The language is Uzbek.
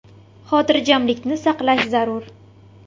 Xotirjamlikni saqlash zarur.